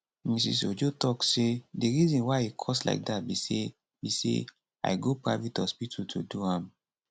mrs ojo tok say di reason why e cost like dat be say be say i go private hospital to do am